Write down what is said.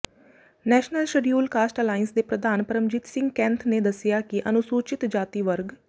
national scheduled caste alliance ਦੇ ਪ੍ਰਧਾਨ ਪਰਮਜੀਤ ਸਿੰਘ ਕੈਂਥ ਨੇ ਦੱਸਿਆ ਕਿ ਅਨੁਸੂਚਿਤ ਜਾਤੀ ਵਰਗ